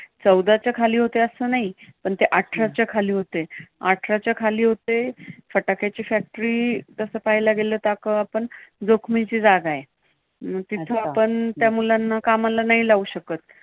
चौदाच्या खाली होते असं नाही, पण ते आठराच्या खाली होते. आठराच्या खाली होते. फटाक्यांची factory तसं पाहायला गेलं तर आपण जोखीम जोखमीची जागा आहे. मग तिथे आपण त्यांना कामाला नाही लावू शकत.